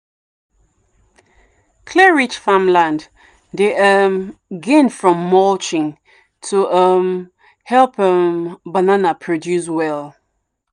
clay-rich farmland dey um gain from mulching to um help um banana produce well.